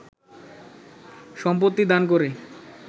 সম্পত্তি দান করে